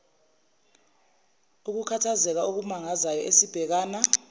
ukukhathazeka okumangazayo esibhekana